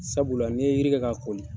Sabula ni ye yiri kɛ ka kɔli